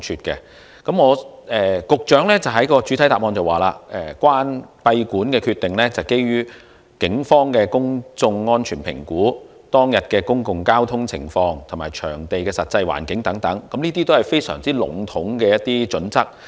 局長在主體答覆中指出，閉館的決定是基於警方的公眾安全評估、節目當日的交通情況、場地的實際環境等，這些都是相當籠統的準則。